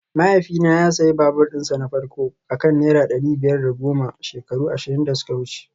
Mahaifina ya sayi babur dinsa na farko a kan naira dari biyar da goma shekaru ashirin da suka wuce